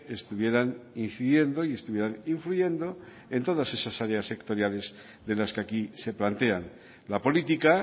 estuvieran incidiendo y estuvieran influyendo en todas esas áreas sectoriales de las que aquí se plantean la política